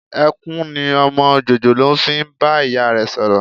Ẹkún ni ọmọ jòjòló fi ń bá ìyá rẹ sọ̀rọ̀